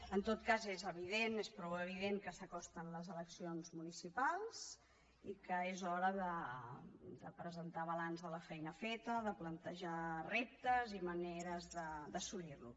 en tot cas és evident és prou evident que s’acosten les eleccions municipals i que és hora de presentar balanç de la feina feta de plantejar reptes i maneres d’assolirlos